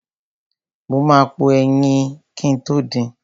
Mo ma po ẹyin kin tó din.